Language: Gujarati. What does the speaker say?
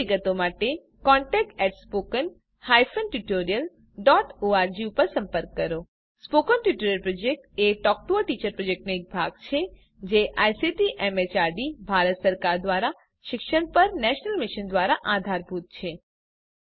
વધુ વિગતો માટે contactspoken tutorialorg ઉપર સંપર્ક કરો સ્પોકન ટ્યુટોરીયલ પ્રોજેક્ટ એ ટોક ટુ અ ટીચર પ્રોજેક્ટનો ભાગ છે જે આઇસીટીએમએચઆરડીભારત સરકાર દ્વારા શિક્ષણ પર નેશનલ મિશન દ્વારા આધારભૂત છે